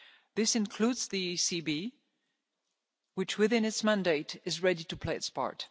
citizens. This includes the ECB, which within its mandate is ready to play